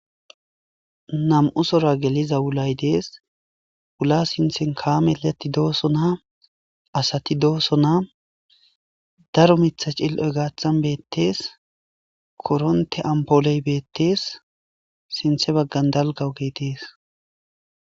namu'u sora geliza wulay dees wula sinthen kaamezati dooso naa asati dooso naa daro mitha cill7oy gaathan beettees koronte ampooley beettees sinthe baggan dalga ogeey geetees